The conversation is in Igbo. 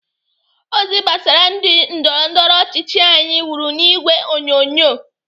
Ozi gbasara ndị ndọrọndọrọ ọchịchị anyi wuru n'ìgwè onyonyo.